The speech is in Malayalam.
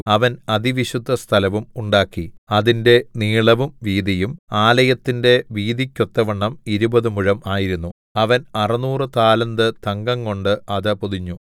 അവൻ അതിവിശുദ്ധസ്ഥലവും ഉണ്ടാക്കി അതിന്റെ നീളവും വീതിയും ആലയത്തിന്റെ വീതിക്കൊത്തവണ്ണം ഇരുപതു മുഴം ആയിരുന്നു അവൻ അറുനൂറു താലന്ത് തങ്കംകൊണ്ട് അത് പൊതിഞ്ഞു